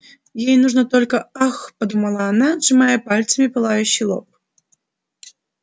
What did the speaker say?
ей нужно только ах подумала она сжимая пальцами пылающий лоб